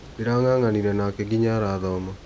Ndĩrang'ang'anire nake ginya arathoma.